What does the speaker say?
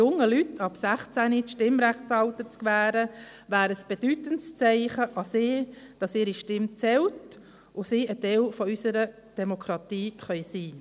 Den jungen Leuten ab 16 das Stimmrechtsalter zu gewähren, wäre ein bedeutendes Zeichen an sie, dass ihre Stimme zählt und dass sie ein Teil unserer Demokratie sein können.